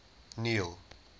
neil